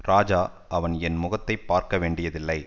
ராஜா அவன் என் முகத்தை பார்க்க வேண்டியதில்லை